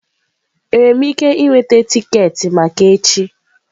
Enwere m ike iweta tiketi maka echi?